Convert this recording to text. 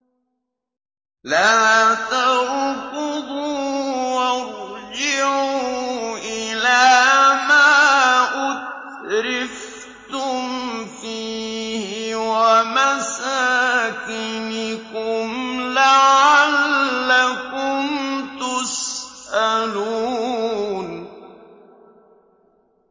لَا تَرْكُضُوا وَارْجِعُوا إِلَىٰ مَا أُتْرِفْتُمْ فِيهِ وَمَسَاكِنِكُمْ لَعَلَّكُمْ تُسْأَلُونَ